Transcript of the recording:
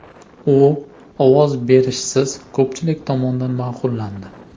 U ovoz berishsiz ko‘pchilik tomonidan ma’qullandi.